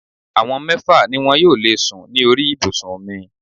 Àwọn mẹ́fà ni wọn yóò lè sùn ní orí ibùsùn mi